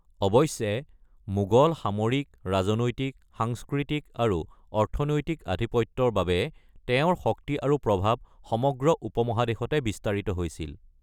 অৱশ্যে মোগল সামৰিক, ৰাজনৈতিক, সাংস্কৃতিক আৰু অৰ্থনৈতিক আধিপত্যৰ বাবে তেওঁৰ শক্তি আৰু প্ৰভাৱ সমগ্ৰ উপমহাদেশতে বিস্তাৰিত হৈছিল।